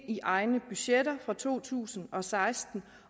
i egne budgetter fra to tusind og seksten